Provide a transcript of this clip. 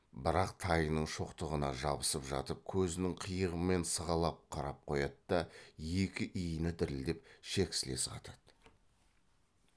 бірақ тайының шоқтығына жабысып жатып көзінің қиығымен сығалап қарап қояды да екі иіні дірілдеп шек сілесі қатады